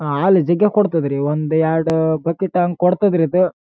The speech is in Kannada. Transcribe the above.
ಹಾಲಜಿಗೆ ಕೊಡ್‌ತದ್ರಿ ಒಂದೆರೆಡು ಬಕೆಟ್‌ ಅಂಗ್ ಕೊಡ್ತದ್ರಿ ಇದು.